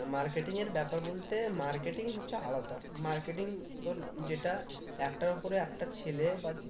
marketing এর ব্যাপার বলতে marketing হচ্ছে আলাদা marketing তোর যেটা একটার উপরে একটা ছেলে বা